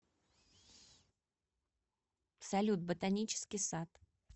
салют ботанический сад